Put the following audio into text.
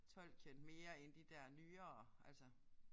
Tolkien mere end de der nyere altså